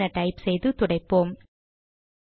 clear என type செய்து துடைப்போம்